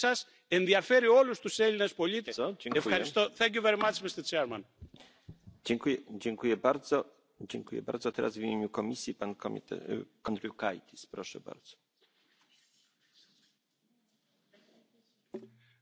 Es gilt nicht nur bei der Plastikstrategie, dass wir geschlossen als Parlament dastehen, sondern auch in Fragen der Gesundheit. Ein Europa, das schützt, muss ein Europa sein, das den Gesundheitsschutz seiner Bürgerinnen und Bürger ganz oben auf die Tagesordnung setzt.